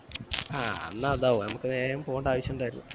ആ അന്ന് അതാവും നമ്മക് വേഗം പോണ്ടേ ആവിശം ഇണ്ടായിരുന്നു